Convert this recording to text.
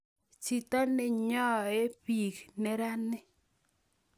Chito nenyoii biik nerani